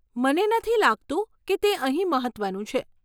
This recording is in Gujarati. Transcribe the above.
મને નથી લાગતું કે તે અહીં મહત્વનું છે.